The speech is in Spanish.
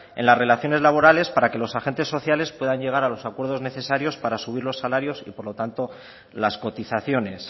en las relaciones laborales para que los agentes sociales puedan llegar a los acuerdos necesarios para subir los salarios y por lo tanto las cotizaciones